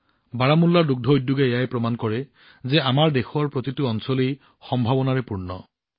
বাৰামুল্লাৰ দুগ্ধ উদ্যোগৰ সাক্ষ্য যে আমাৰ দেশৰ প্ৰতিটো প্ৰান্তেই সম্ভাৱনাৰে ভৰপূৰ